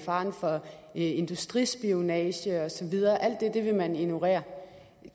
faren for industrispionage og så videre alt det vil man ignorere